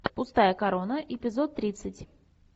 пустая корона эпизод тридцать